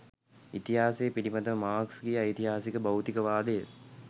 ඉතිහාසය පිලිබඳව මාක්ස්ගේ ඓතිහාසික භෞතිකවාදය